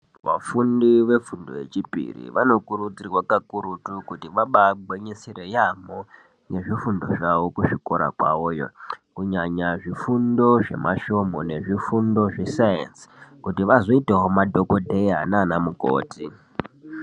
Vafundi vefundo yechipiri vanokurudzirwa kakurutu kuti vabaa gwinyisira yaamho nezvifundo zvavo kuzvikora kwavo yoo, kunyanya zvifundo zvemasvomu nezvifundo zvesainzi kuti vazoitawo madhokodheya naana mukhoti.